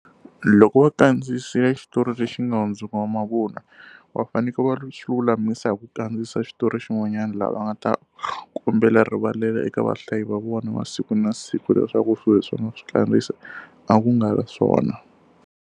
Loko va kandziyisile xitori lexi nga hundzuka mavun'wa, va fanekele va swi lulamisa hi ku kandziyisa xitori xin'wanyana laha nga ta kombela rivalelo eka vahlayi va vona va siku na siku, leswaku swilo leswi va nga swi kandziyisa a ku nga na swona.